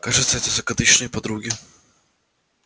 кажется это закадычные подруги